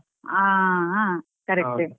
ಹಾ ಹಾ correct .